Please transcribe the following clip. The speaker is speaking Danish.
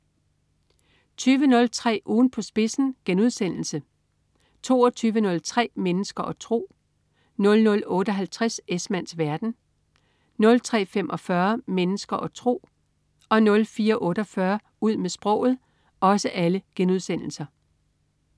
20.03 Ugen på spidsen* 22.03 Mennesker og tro* 00.58 Esmanns verden* 03.45 Mennesker og tro* 04.48 Ud med sproget*